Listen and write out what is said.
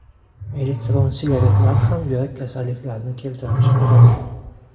Elektron sigaretlar ham yurak kasalliklarini keltirib chiqaradi.